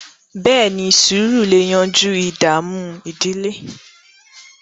beeni, sùúrù lẹ yanjú ìdààmú ìdílé